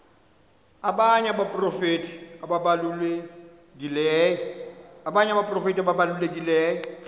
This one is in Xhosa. abanye abaprofeti ababalulekileyo